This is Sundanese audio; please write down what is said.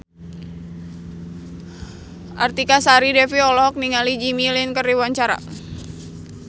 Artika Sari Devi olohok ningali Jimmy Lin keur diwawancara